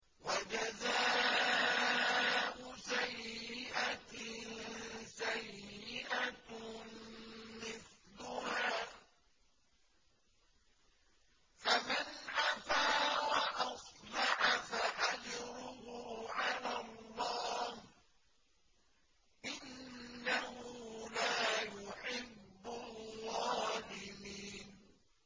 وَجَزَاءُ سَيِّئَةٍ سَيِّئَةٌ مِّثْلُهَا ۖ فَمَنْ عَفَا وَأَصْلَحَ فَأَجْرُهُ عَلَى اللَّهِ ۚ إِنَّهُ لَا يُحِبُّ الظَّالِمِينَ